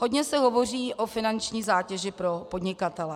Hodně se hovoří o finanční zátěži pro podnikatele.